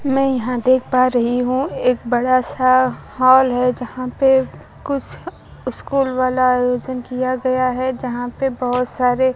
मैं यहां देख पा रही हूं एक बड़ा सा हॉल है यहां पे कुछ स्कूल वाला आयोजन किया गया है यहां पे बहुत सारे--